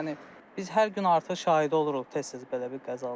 Yəni biz hər gün artıq şahidi oluruq tez-tez belə bir qəzalara.